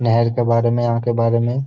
नहर के बारे में यहाँ के बारे में।